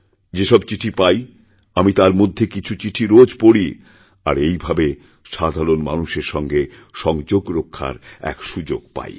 যে সব চিঠি পাই আমি তার মধ্যে কিছু চিঠিরোজ পড়ি আর এইভাবে সাধারণ মানুষের সঙ্গে সংযোগ রক্ষার এক সুযোগ পাই